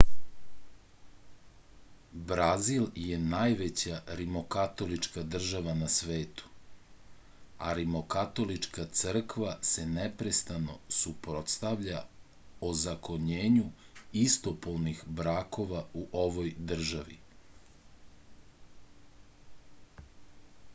brazil je najveća rimokatolička država na svetu a rimokatolička crkva se neprestano suprotstavlja ozakonjenju istopolnih brakova u ovoj državi